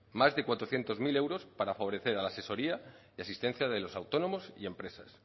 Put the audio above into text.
más de cuatrocientos mil euros para favorecer a la asesoría y asistencia de los autónomos y empresas